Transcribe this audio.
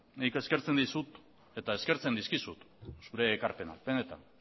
nik eskertzen dizut eta eskertzen dizkizut zure ekarpenak benetan